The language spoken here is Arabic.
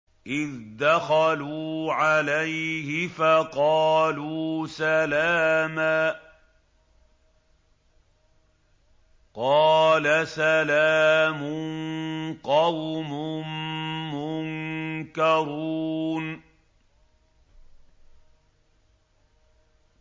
إِذْ دَخَلُوا عَلَيْهِ فَقَالُوا سَلَامًا ۖ قَالَ سَلَامٌ قَوْمٌ مُّنكَرُونَ